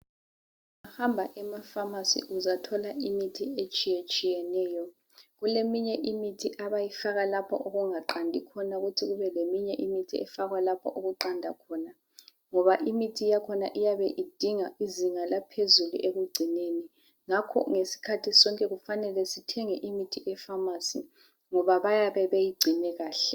Hamba efamasi uzathola imithi etshiyatshiyeneyo. Kuleminye imithi abayifaka lapho okuqandi khona kuthi kube leyinye imithi efakwa lapho okuqanda khona. Ngoba imithi yakhona iyabe idinga izinga laphezulu ekugcineni ngakho ngesikhathi sonke kufanele sithenge imithi efamasi ngoba bayabe beyigcine kahle.